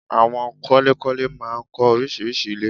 Àwon kọ́lékọ́lé máa ń kọ́ orísirísi ilé